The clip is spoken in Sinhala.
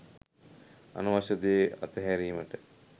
අනවශ්‍ය දේ අතහැරීමට